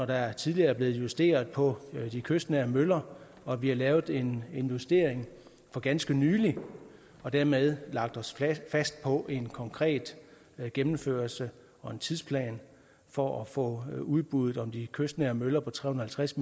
der er tidligere blevet justeret på de kystnære møller og vi har lavet en justering for ganske nylig og dermed lagt os fast på en konkret gennemførelse og en tidsplan for at få udbuddet om de kystnære møller på tre hundrede og tres